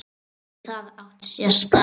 Gæti það átt sér stað?